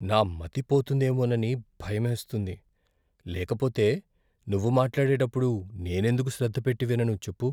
నా మతి పోతుందేమోనని భయమేస్తుంది, లేకపోతే నువ్వు మాట్లాడేటప్పుడు నేను ఎందుకు శ్రద్ధ పెట్టి వినను చెప్పు?